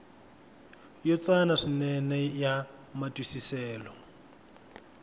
yo tsana swinene ya matwisiselo